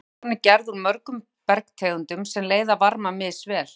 Jarðskorpan er gerð úr mörgum bergtegundum sem leiða varma misvel.